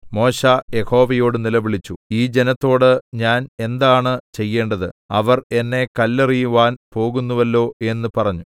മോശെ യഹോവയോട് നിലവിളിച്ചു ഈ ജനത്തോട് ഞാൻ എന്താണ് ചെയ്യേണ്ടത് അവർ എന്നെ കല്ലെറിയുവാൻ പോകുന്നുവല്ലോ എന്ന് പറഞ്ഞു